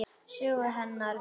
Sögu hennar.